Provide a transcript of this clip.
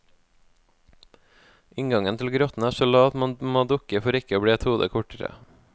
Inngangen til grotten er så lav at man må dukke for ikke å bli et hode kortere.